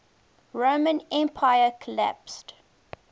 roman empire collapsed